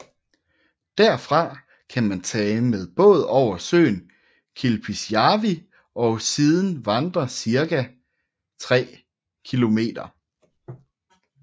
Derfra kan man tage med båd over søen Kilpisjärvi og siden vandre cirka 3 km